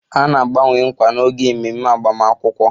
A na-agbanwe nkwa n'oge ememe agbamakwụkwọ